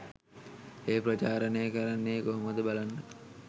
එය ප්‍රචාරණය කරන්නේ කොහොමද බලන්න